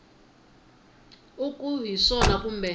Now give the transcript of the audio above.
u ku hi swona kumbe